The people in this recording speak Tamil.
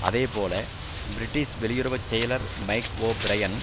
அதே போல பிரிட்டிஷ் வெளியுறவு செயலர் மைக் ஓ பிரையன்